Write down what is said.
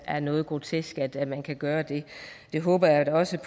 er noget grotesk at man kan gøre det jeg håber da også